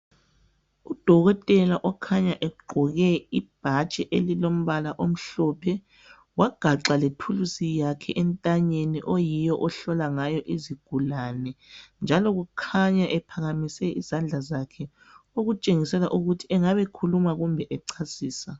Udokotela okhanya egqoke ibhatshi elilombala omhlophe, wagaxa lethulusi yakhe entanyeni oyiyo ohlola ngayo izigulani njalo kukhanya ephakamise izandla zakhe okutshengisela ukuthi engabe ekhuluma kumbe echasisa.